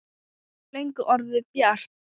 Það var löngu orðið bjart.